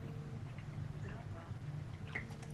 дрова